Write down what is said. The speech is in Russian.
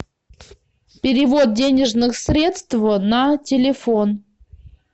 перевод денежных средств на телефон